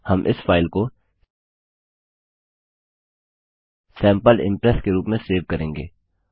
हम इस फाइल को सैंपल इम्प्रेस के रूप में सेव करेंगे